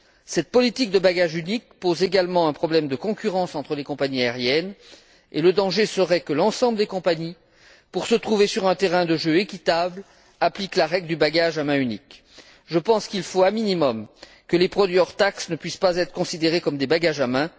Cette politique de bagage unique pose aussi un problème de concurrence entre les compagnies aériennes et le danger serait que l'ensemble des compagnies, pour se trouver sur un terrain de jeu équitable, applique la règle du bagage à main unique Je pense qu'il faut au minimum que les produits hors taxe ne puissent pas être considérés comme des bagages à main.